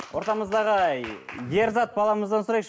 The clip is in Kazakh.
ортамыздағы ерзат баламыздан сұрайықшы